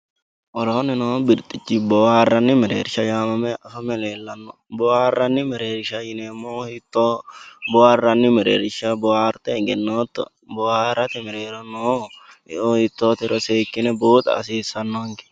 woroonni noo birxxichi booharranni mereeshsha yee afame leellanno booharranni mereershsha yinannihu hiitooho booharranni mereersha booharte egennooto booharate mereero noo yoo hiitootero seekkine buuxa hasiissannonke